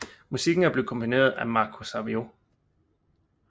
Musikken er blevetkomponeret af Marco Sabiu